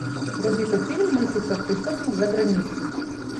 вруби как фильм мыслить как преступник за границей